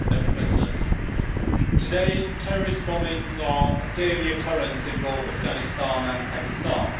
Madam President, today, terrorist bombings are a daily occurrence in both Afghanistan and Pakistan.